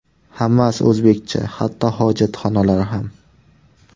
Hammasi o‘zbekcha: hatto hojatxonalar ham.